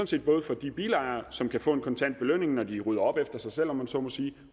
set både for de bilejere som kan få en kontant belønning når de rydder op efter sig selv om man så må sige